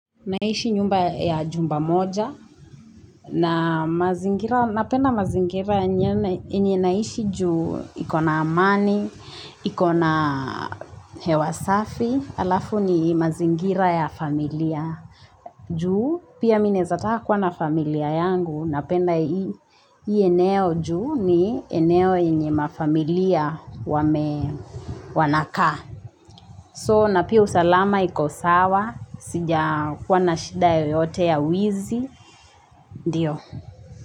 Naishi nyumba ya jumba moja, na mazingira, napenda mazingira yenye naishi ju ikona amani, ikona hewa safi, alafu ni mazingira ya familia. Ju, pia mi naeza taka kuwa na familia yangu, napenda hii, hii eneo juu ni eneo yenye mafamilia wame, wanakaa. So na pia salama iko sawa, sija kuwa na shida yoyote ya wizi, ndiyo.